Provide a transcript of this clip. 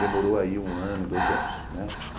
Demorou aí um ano, dois anos, né?